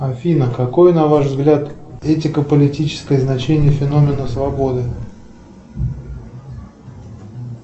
афина какой на ваш взгляд этико политическое значение феномена свободы